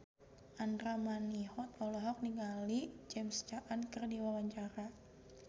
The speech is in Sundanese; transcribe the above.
Andra Manihot olohok ningali James Caan keur diwawancara